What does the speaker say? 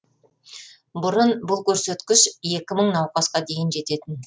бұрын бұл көрсеткіш екі мың науқасқа дейін жететін